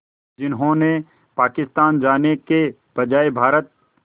जिन्होंने पाकिस्तान जाने के बजाय भारत